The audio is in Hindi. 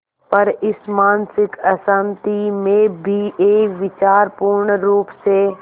पर इस मानसिक अशांति में भी एक विचार पूर्णरुप से